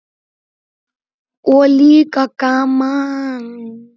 Og líka gaman.